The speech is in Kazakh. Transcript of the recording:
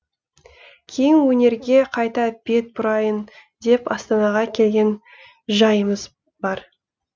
кейін өнерге қайта бет бұрайын деп астанаға келген жайымыз бар